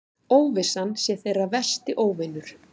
Óvissan sé þeirra versti óvinur.